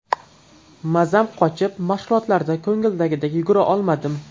Mazam qochib, mashg‘ulotlarda ko‘ngildagidek yugura olmadim.